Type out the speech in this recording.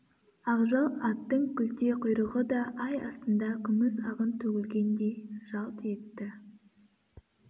ақжал аттың күлте құйрығы да ай астында күміс ағын төгілгендей жалт етті